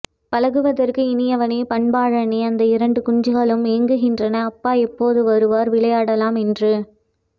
பழகுவதற்கு இனியவனே பண்பாளனே அந்த இரண்டு குஞ்சுகளும் ஏங்குகின்றன அப்பா எப்போது வருவார் விளையாடலாம்என்று